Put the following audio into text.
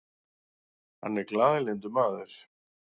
Hann er glaðlyndur maður.